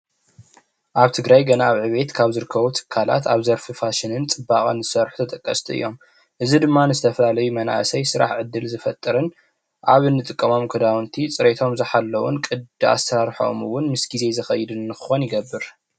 ኣብ ትግራይ ገና ኣብ ዕቤት ዝርከቡ ትካላት ኣብ ዘርፊ ፋሽን ፅባቀን ዝሰርሑ ተጠቀስቲ እዮም። እዚ ድማ ንዝተፈላለዩ መናእሰይ ስራሕ ዕድል ዝፈጥርን ኣብ እንጥቀመም ክዳውንቲ ፅሪዮቶ ዝሓለውን ቅዲ ኣሰራርሐኦም እውን ምስ ግዜ ዝከይድ ክክውን ይገብር።